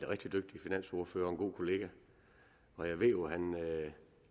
rigtig dygtig finansordfører og en god kollega og jeg ved jo at han